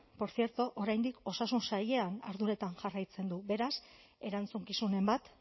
por cierto oraindik osasun sailean arduretan jarraitzen du beraz erantzukizunen bat